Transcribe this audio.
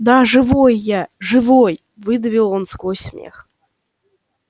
да живой я живой выдавил он сквозь смех